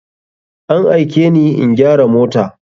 An aikeni in gyara mota.